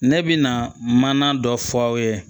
Ne bɛ na mana dɔ fɔ aw ye